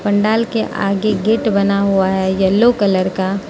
पंडाल के आगे गेट बना हुआ है येलो कलर का--